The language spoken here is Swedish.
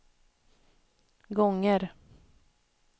gånger